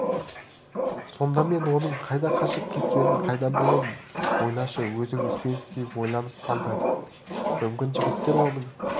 сонда мен оның қайда қашып кеткенін қайдан білемін ойлашы өзің успенский ойланып қалды мүмкін жігіттер оның